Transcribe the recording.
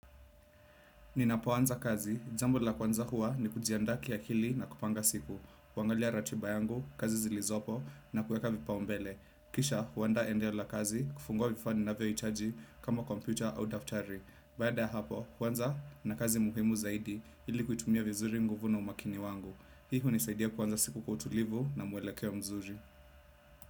Ninapuanza kazi jambo la kwanza hua ni kujiandaa ki akili na kupanga siku kuangalia ratiba yangu kazi zilizopo na kuweka vipaumbele. Kisha huandaa enda yola kazi, kufungua vifani na VHG kama computer au daftari. Baada ya hapo kwanza kuna kazi muhimu zaidi ili kuitumia vizuri nguvu na umakini wangu. Hii hunisaidia kuanza siku kwa utulivu na mwelekeo mzuri.